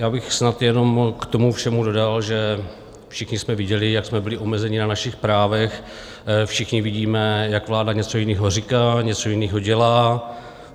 Já bych snad jenom k tomu všemu dodal, že všichni jsme viděli, jak jsme byli omezeni na našich právech, všichni vidíme, jak vláda něco jiného říká, něco jiného dělá.